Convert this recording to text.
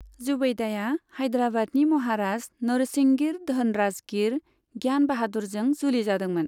जुबैदाया हायद्राबादनि महाराज नरसिंगिर धनराजगीर ज्ञान बाहादुरजों जुलि जादोंमोन।